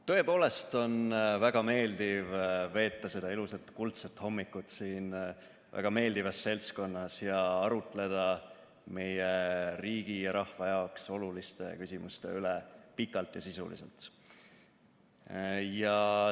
Tõepoolest on väga meeldiv veeta seda ilusat kuldset hommikut siin väga meeldivas seltskonnas ja arutleda meie riigi ja rahva jaoks oluliste küsimuste üle pikalt ja sisuliselt.